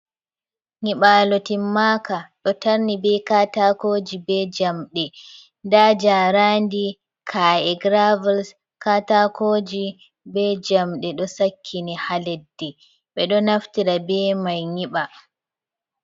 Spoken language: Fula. Nyiɓalo timaka do tarni be katakoji be jamde ,da jarandi ka’e gravels katakoji be jamde do sakkini haleddi ɓe do naftira be mai nyiɓa.